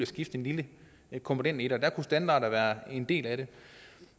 skifte en lille komponent i der kunne standarder være en del af det